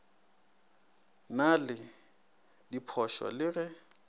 na le diphošo le ge